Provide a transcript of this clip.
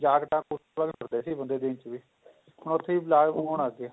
ਜਾਕਟਾ ਕੋਟੀਆਂ ਪਾਉਂਦੇ ਸੀ ਬੰਦੇ ਦਿਨ ਚ ਵੀ ਹੁਣ ਉੱਥੇ ਹੋਣ ਲਗ ਗਏ